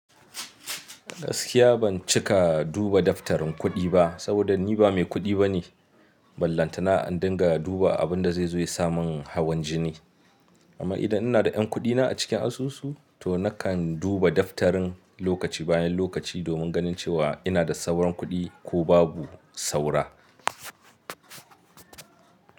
Gaskiya ban cika duba daftarin kuɗi ba saboda ni ba mai kuɗi bane. Ballantana in dinga duba abin da zai zo ya sa mun hawan jini. Amma idan ina da yan kuɗina a cikin asusu to nakan duba daftarin lokaci bayan lokaci domin ganin cewa ina da sauran kuɗi ko babu saura.